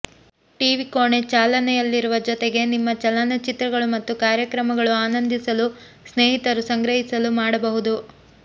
TV ಕೋಣೆ ಚಾಲನೆಯಲ್ಲಿರುವ ಜೊತೆಗೆ ನಿಮ್ಮ ಚಲನಚಿತ್ರಗಳು ಮತ್ತು ಕಾರ್ಯಕ್ರಮಗಳು ಆನಂದಿಸಲು ಸ್ನೇಹಿತರು ಸಂಗ್ರಹಿಸಲು ಮಾಡಬಹುದು